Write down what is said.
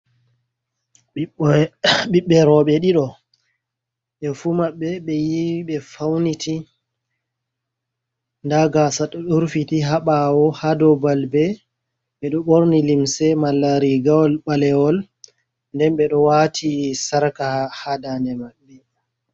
Ɓiɓɓe roɓe ɗiɗo ɓe fu maɓɓe ɓe yiwi ɓe fauniti nda gasa ɗo rufiti ha ɓawo. Ha ɗow balɓe ɓe ɗo ɓorni limse malarigawol ɓalewol nden ɓe ɗo wati sarka ha dane maɓɓe.